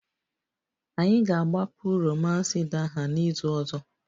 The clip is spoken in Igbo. Anyị ga-agbapụ romance idaha n'izu ọzọ